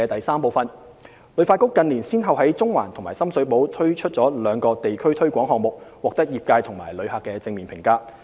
三旅發局近年先後在中環及深水埗推出了兩個地區推廣項目，獲得業界和旅客正面評價。